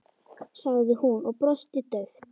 sagði hún og brosti dauft.